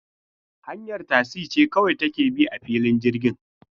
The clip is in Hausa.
Hanyar tasi ce kawai take bi a filin jirgin.